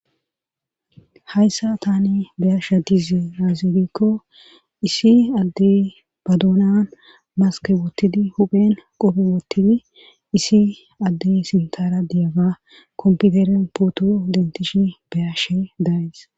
hayssa tani beyasha dizi azirikko isi addey baduonan maske wottidi huphen qophe woottidi issi addey sintara diyaba komputeren pooto dentishi beyashe dayes